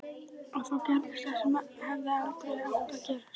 Og þá gerðist það sem aldrei hefði átt að gerast.